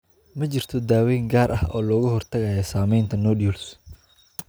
Ma jirto daaweyn gaar ah oo looga hortagayo sameynta nodules.